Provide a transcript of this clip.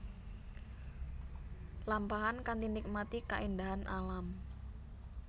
Lampahan kanthi nikmati kaéndahan alam